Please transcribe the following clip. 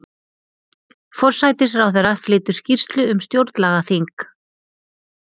Forsætisráðherra flytur skýrslu um stjórnlagaþing